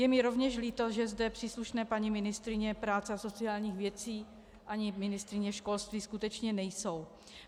Je mi rovněž líto, že zde příslušné paní ministryně práce a sociálních věcí ani ministryně školství skutečně nejsou.